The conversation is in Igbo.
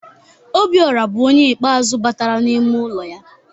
Obiọra bụ onye ikpe azụ batara n'ime ụlọ a.